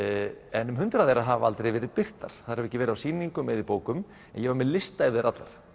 en um hundrað þeirra hafa aldrei verið birtar þær hafa ekki verið á sýningum eða í bókum en ég var með lista yfir þær allar